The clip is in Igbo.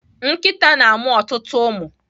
Nkịta na-amụ ọtụtụ ụmụ.